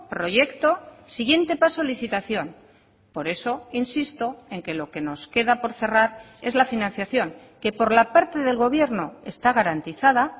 proyecto siguiente paso licitación por eso insisto en que lo que nos queda por cerrar es la financiación que por la parte del gobierno está garantizada